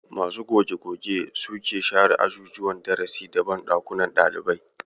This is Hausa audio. Masu goge-goge su suke share ajujuwan darasi da banɗakunan ɗalibai.